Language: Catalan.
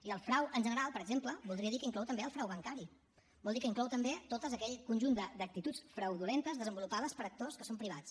i el frau en general per exemple voldria dir que inclou també el frau bancari vol dir que inclou també tot aquell conjunt d’actituds fraudulentes desenvolupades per actors que són privats